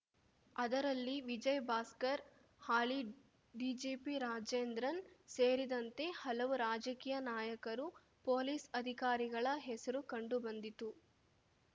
ಅದರಲ್ಲಿ ವಿಜಯ್‌ಭಾಸ್ಕರ್‌ ಹಾಲಿ ಡಿಜಿಪಿ ರಾಜೇಂದ್ರನ್‌ ಸೇರಿದಂತೆ ಹಲವು ರಾಜಕೀಯ ನಾಯಕರು ಪೊಲೀಸ್‌ ಅಧಿಕಾರಿಗಳ ಹೆಸರು ಕಂಡುಬಂದಿತ್ತು